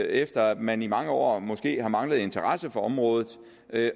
efter at man i mange år måske har manglet interesse for området